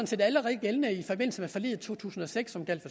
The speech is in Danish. set allerede gældende i forbindelse med forliget i to tusind og seks som gjaldt